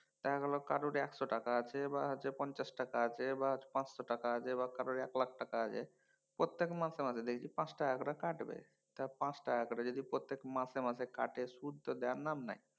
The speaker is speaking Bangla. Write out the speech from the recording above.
দেখা গেলো কারোর একশ টাকা আছে কারো কাছে পঞ্চাশ টাকা আছে বা পাঁচশো টাকা আছে বা কারো এক লাখ টাকা আছে প্রত্যেক মাসে মাসে দেখি পাঁচ টাকা করে কাটবে। তা পাঁচ টাকা করে যদি প্রত্যেক মাসে মাসে কাটে সুদ তো দেওয়ার না নাই।